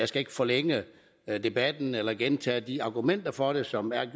skal ikke forlænge debatten eller gentage de argumenter for det som er